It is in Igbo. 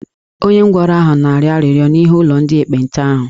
Onye ngwọrọ ahụ na-arịọ arịrịọ n'ihu ụlọ ndị ekpenta ahụ